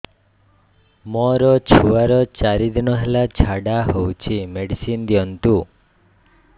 ମୋର ଛୁଆର ଚାରି ଦିନ ହେଲା ଝାଡା ହଉଚି ମେଡିସିନ ଦିଅନ୍ତୁ